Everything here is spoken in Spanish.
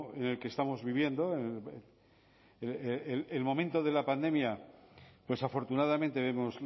en el que estamos viviendo el momento de la pandemia pues afortunadamente vemos